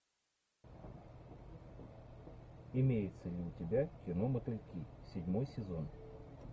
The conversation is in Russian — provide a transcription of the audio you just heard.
имеется ли у тебя кино мотыльки седьмой сезон